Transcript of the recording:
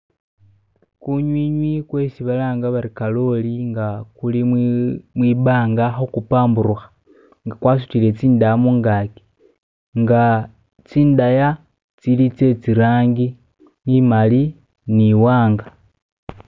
Gunywinywi gwesi balanga bati kalooli nga guli mwibaanga guli kubambuluka nga gwasudile zindaya munganji nga zindaya zili zezilanji imali ni mwanga